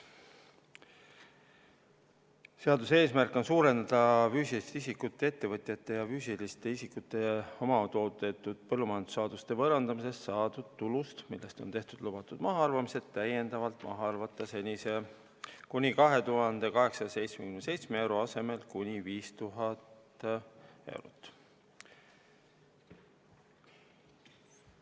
Seaduse eesmärk on võimaldada füüsilisest isikust ettevõtjate ja füüsiliste isikute omatoodetud põllumajandussaaduste võõrandamisest saadud tulust täiendavalt maha arvata senise kuni 2877 euro asemel kuni 5000 eurot.